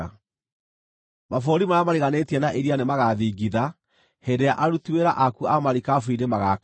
Mabũrũri marĩa mariganĩtie na iria nĩmagathingitha hĩndĩ ĩrĩa aruti wĩra aku a marikabu-inĩ magaakaya.